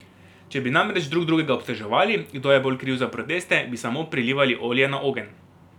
Če bi namreč drug drugega obtoževali, kdo je bolj kriv za proteste, bi samo prilivali olje na ogenj.